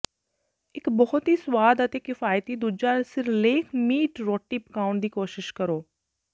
ਇੱਕ ਬਹੁਤ ਹੀ ਸਵਾਦ ਅਤੇ ਕਿਫ਼ਾਇਤੀ ਦੂਜਾ ਸਿਰਲੇਖ ਮੀਟ ਰੋਟੀ ਪਕਾਉਣ ਦੀ ਕੋਸ਼ਿਸ਼ ਕਰੋ